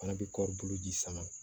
Fana bɛ kɔri bolo ji sama